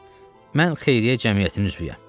Ancaq mən xeyriyyə cəmiyyətinin üzvüyəm.